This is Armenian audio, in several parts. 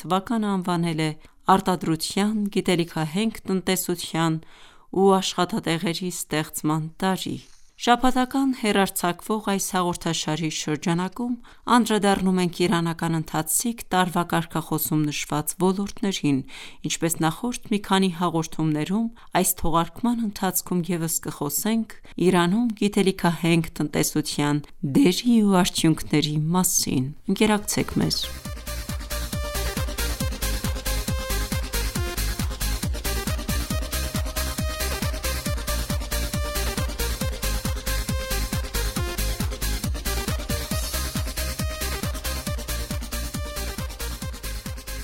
թվականն անվանել է «Արտադրության, գիտելիքահենք տնտեսության ու աշխատատեղերի ստեղծման տարի»: Շաբաթական հեռարձակվող այս հաղորդաշարի շրջանակում անդրադառնում ենք իրանական ընթացիկ տարվա կարգախոսում նշված ոլորտներին:Ինչպես նախորդ մի քանի հաղորդումներում, այս թողարկման ընթացքում ևս կխոսենք Իրանում գիտելիքահենք տնտեսության դերի ու արդյունքների մասին: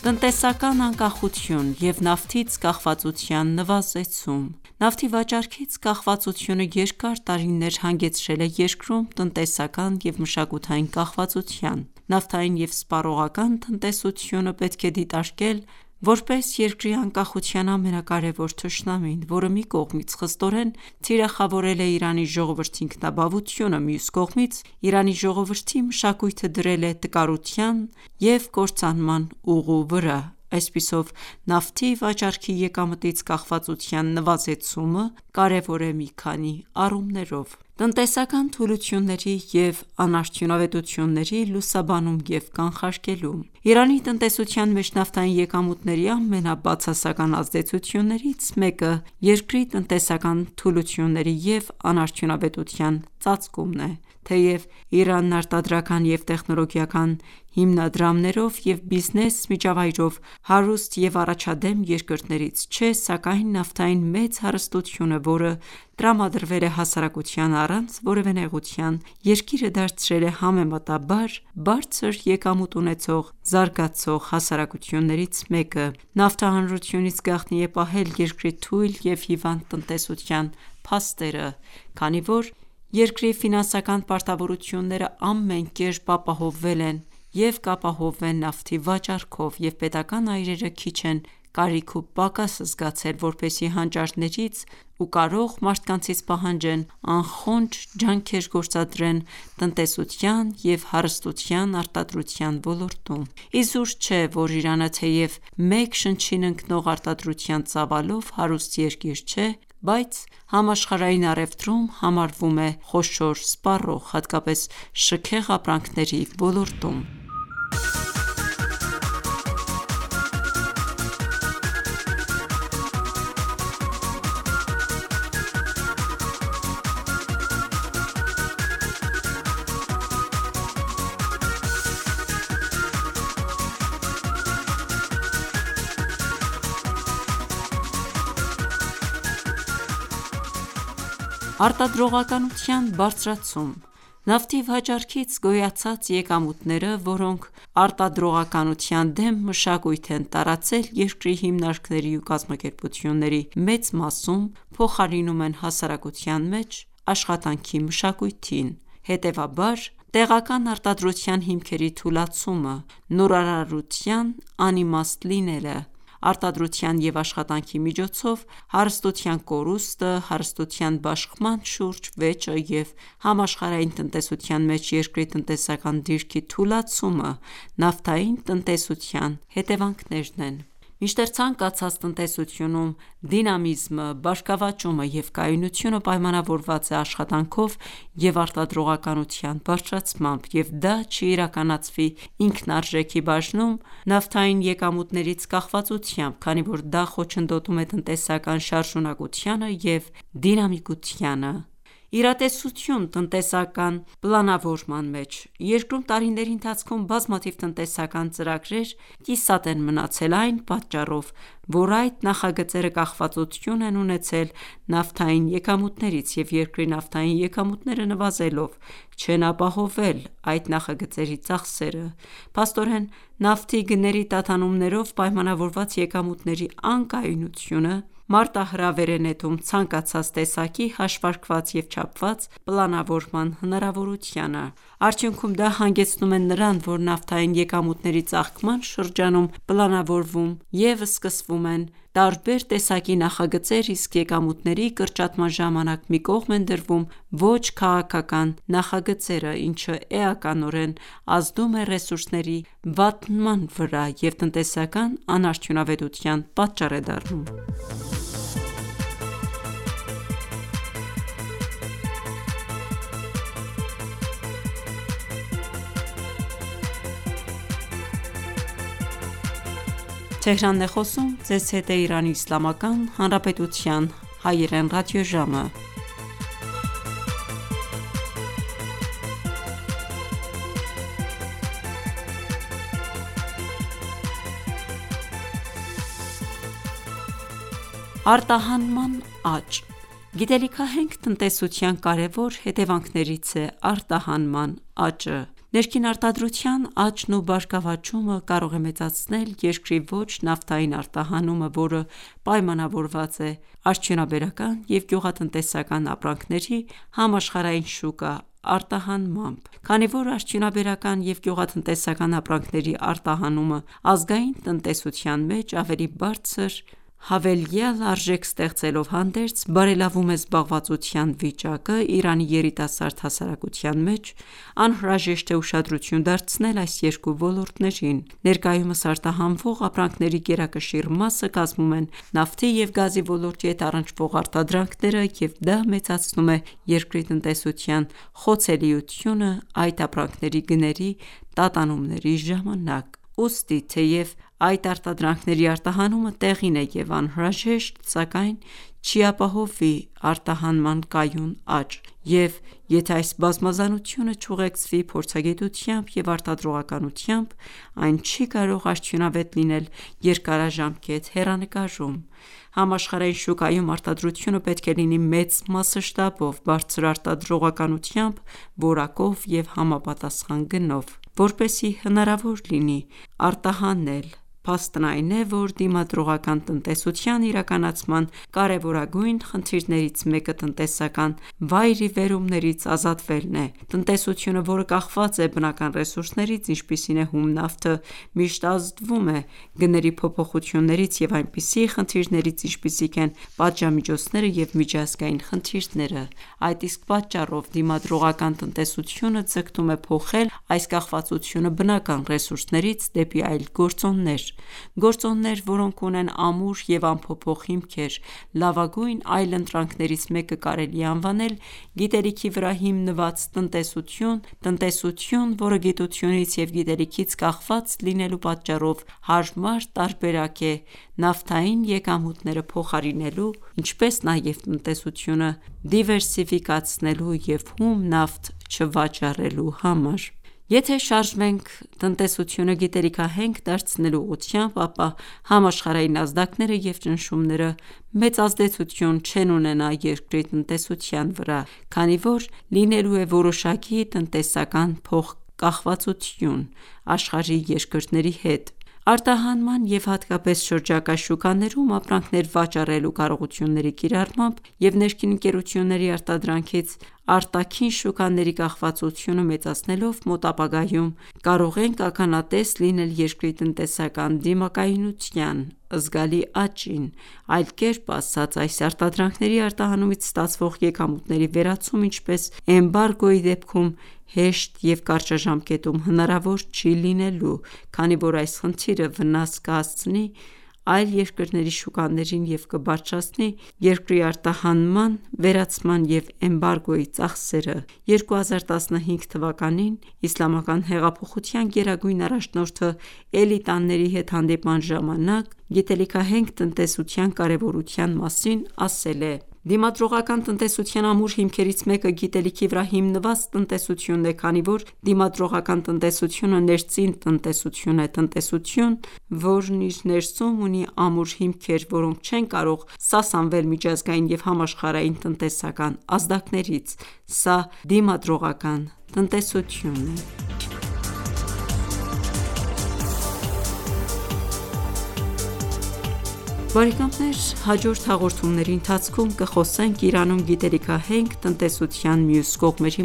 Տնտեսական անկախություն և նավթից կախվածության նվազեցում Նավթի վաճառքից կախվածությունը երկար տարիներ հանգեցրել է երկրում տնտեսական և մշակութային կախվածության։ Նավթային և սպառողական տնտեսությունը պետք է դիտարկել որպես երկրի անկախության ամենակարևոր թշնամին, որը մի կողմից խստորեն թիրախավորել է Իրանի ժողովրդի ինքնաբավությունը, մյուս կողմից՝ Իրանի ժողովրդի մշակույթը դրել է տկարության և կործանման ուղու վրա։ Այսպիսով, նավթի վաճառքի եկամտից կախվածության նվազեցումը կարևոր է մի քանի առումներով. Տնտեսական թուլությունների և անարդյունավետությունների լուսաբանում և կանխարգելում Իրանի տնտեսության մեջ նավթային եկամուտների ամենաբացասական ազդեցություններից մեկը երկրի տնտեսական թուլությունների և անարդյունավետության ծածկումն է: Թեև Իրանն արտադրական և տեխնոլոգիական հիմնադրամներով և բիզնես միջավայրով հարուստ և առաջադեմ երկրներից չէ, սակայն նավթային մեծ հարստությունը, որը տրամադրվել է հասարակությանը առանց որևէ նեղության, երկիրը դարձրել է համեմատաբար բարձր եկամուտ ունեցող զարգացող հասարակություններից մեկը։ Նավթը հանրությունից գաղտնի է պահել երկրի թույլ և հիվանդ տնտեսության փաստերը, քանի որ երկրի ֆինանսական պարտավորություններն ամեն կերպ ապահովվել են և կապահովվեն նավթի վաճառքով, և պետական այրերը քիչ են կարիք ու պակաս զգացել, որպեսզի հանճարներից ու կարող մարդկանցից պահանջեն անխոնջ ջանքեր գործադրեն տնտեսության և հարստության արտադրության ոլորտում։ Իզուր չէ, որ Իրանը, թեև մեկ շնչին ընկնող արտադրության ծավալով հարուստ երկիր չէ, բայց համաշխարհային առևտրում համարվում է խոշոր սպառող, հատկապես շքեղ ապրանքների ոլորտում։ Արտադրողականության բարձրացում Նավթի վաճառքից գոյացած եկամուտները, որոնք արտադրողականության դեմ մշակույթ են տարածել երկրի հիմնարկների ու կազմակերպությունների մեծ մասում, փոխարինում են հասարակության մեջ աշխատանքի մշակույթին։ Հետևաբար, տեղական արտադրության հիմքերի թուլացումը, նորարարության անիմաստ լինելը, արտադրության և աշխատանքի միջոցով հարստության կորուստը, հարստության բաշխման շուրջ վեճը և համաշխարհային տնտեսության մեջ երկրի տնտեսական դիրքի թուլացումը նավթային տնտեսության հետևանքներն են: Մինչդեռ ցանկացած տնտեսությունում դինամիզմը, բարգավաճումը և կայունությունը պայմանավորված է աշխատանքով և արտադրողականության բարձրացմամբ, և դա չի իրականացվի ինքնարժեքի բաժնում նավթային եկամուտներից կախվածությամբ, քանի որ դա խոչընդոտում է տնտեսական շարժունակությանը և դինամիկությանը: Իրատեսություն տնտեսական պլանավորման մեջ Երկրում տարիների ընթացքում բազմաթիվ տնտեսական ծրագրեր կիսատ են մնացել այն պատճառով, որ այդ նախագծերը կախվածություն են ունեցել նավթային եկամուտներից, և երկրի նավթային եկամուտները նվազելով, չեն ապահովվել այդ նախագծերի ծախսերը: Փաստորեն, նավթի գների տատանումներով պայմանավորված եկամուտների անկայունությունը մարտահրավեր է նետում ցանկացած տեսակի հաշվարկված և չափված պլանավորման հնարավորությանը։ Արդյունքում, դա հանգեցնում է նրան, որ նավթային եկամուտների ծաղկման շրջանում պլանավորվում և սկսվում են տարբեր տեսակի նախագծեր, իսկ եկամուտների կրճատման ժամանակ, մի կողմ են դրվում ոչ քաղաքական նախագծերը, ինչը էականորեն ազդում է ռեսուրսների վատնման վրա և տնտեսական անարդյունավետության պատճառ է դառնում: Արտահանման աճ Գիտելիքահենք տնտեսության կարևոր հետևանքներից է արտահանման աճը։ Ներքին արտադրության աճն ու բարգավաճումը կարող է մեծացնել երկրի ոչ նավթային արտահանումը, որը պայմանավորված է արդյունաբերական և գյուղատնտեսական ապրանքների համաշխարհային շուկա արտահանմամբ։ Քանի որ արդյունաբերական և գյուղատնտեսական ապրանքների արտահանումը, ազգային տնտեսության մեջ ավելի բարձր հավելյալ արժեք ստեղծելով հանդերձ, բարելավում է զբաղվածության վիճակը Իրանի երիտասարդ հասարակության մեջ, անհրաժեշտ է ուշադրություն դարձնել այս երկու ոլորտներին։ Ներկայումս արտահանվող ապրանքների գերակշիռ մասը կազմում են նավթի և գազի ոլորտի հետ առնչվող արտադրանքները, և դա մեծացնում է երկրի տնտեսության խոցելիությունը այդ ապրանքների գների տատանումների ժամանակ։ Ուստի, թեև այդ արտադրանքների արտահանումը տեղին է և անհրաժեշտ, սակայն չի ապահովի արտահանման կայուն աճ, և եթե այս բազմազանությունը չուղեկցվի փորձագիտությամբ և արտադրողականությամբ, այն չի կարող արդյունավետ լինել երկարաժամկետ հեռանկարում։ Համաշխարհային շուկայում արտադրությունը պետք է լինի մեծ մասշտաբով, բարձր արտադրողականությամբ, որակով և համապատասխան գնով, որպեսզի հնարավոր լինի արտահանել: Փաստն այն է, որ դիմադրողական տնտեսության իրականացման կարևորագույն խնդիրներից մեկը տնտեսական վայրիվերումներից ազատվելն է։ Տնտեսությունը, որը կախված է բնական ռեսուրսներից, ինչպիսին է հում նավթը, միշտ ազդվում է գների փոփոխություններից և այնպիսի խնդիրներից, ինչպիսիք են պատժամիջոցները և միջազգային խնդիրները: Այդ իսկ պատճառով դիմադրողական տնտեսությունը ձգտում է փոխել այս կախվածությունը բնական ռեսուրսներից դեպի այլ գործոններ: Գործոններ, որոնք ունեն ամուր և անփոփոխ հիմքեր: Լավագույն այլընտրանքներից մեկը կարելի է անվանել գիտելիքի վրա հիմնված տնտեսություն, տնտեսություն, որը գիտությունից և գիտելիքից կախված լինելու պատճառով հարմար տարբերակ է նավթային եկամուտները փոխարինելու, ինչպես նաև տնտեսությունը դիվերսիֆիկացնելու և հում նավթ չվաճառելու համար։ Եթե ​​շարժվենք տնտեսությունը գիտելիքահենք դարձնելու ուղղությամբ, ապա համաշխարհային ազդակները և ճնշումները մեծ ազդեցություն չեն ունենա երկրի տնտեսության վրա, քանի որ լինելու է որոշակի տնտեսական փոխկախվածություն աշխարհի երկրների հետ։ Արտահանման և հատկապես շրջակա շուկաներում ապրանքներ վաճառելու կարողությունների կիրառմամբ և ներքին ընկերությունների արտադրանքից արտաքին շուկաների կախվածությունը մեծացնելով, մոտ ապագայում մենք կարող ենք ականատես լինել երկրի տնտեսական դիմակայունության զգալի աճին, այլ կերպ ասած այդ արտադրանքների արտահանումից ստացվող եկամուտների վերացումը, ինչպես էմբարգոյի դեպքում, հեշտ և կարճաժամկետում հնարավոր չի լինելու: Քանի որ այս խնդիրը վնաս կհասցնի այլ երկրների շուկաներին և կբարձրացնի երկրի արտահանման վերացման և էմբարգոյի ծախսերը: 2015 թվականին Իսլամական հեղափոխության գերագույն առաջնորդը էլիտաների հետ հանդիպման ժամանակ, գիտելիքահենք տնտեսության կարևորության մասին ասել է. «Դիմադրողական տնտեսության ամուր հիմքերից մեկը գիտելիքի վրա հիմնված տնտեսությունն է, քանի որ դիմադրողական տնտեսությունը ներծին տնտեսություն է, տնտեսություն, որն իր ներսում ունի ամուր հիմքեր, որոնք չեն կարող սասանվել միջազգային և համաշխարհային տնտեսական ազդակներից: Սա դիմադրողական տնտեսություն է»։ Հաջորդ հաղորումների ընթացքում կխոսենք Իրանում գիտելիքահենք տնտեսության մյուս կողմերի